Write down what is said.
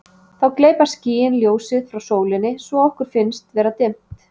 Þá gleypa skýin ljósið frá sólinni svo að okkur finnst vera dimmt.